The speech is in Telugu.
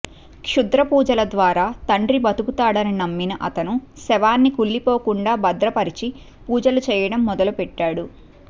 క్షుద్ర పూజల ద్వారా తండ్రి బతుకుతాడని నమ్మిన అతను శవాన్ని కుళ్లిపోకుండా భద్రపరిచి పూజలు చేయడం మొదలుపెట్టాడు